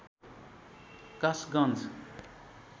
Kasganj